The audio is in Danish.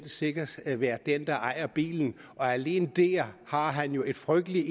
sikkerhed være den der ejer bilen og alene dér har han jo et frygteligt